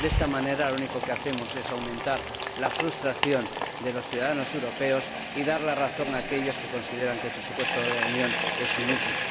De esta manera, lo único que hacemos es aumentar la frustración de los ciudadanos europeos y dar la razón a aquellos que consideran que el presupuesto de la Unión es inútil.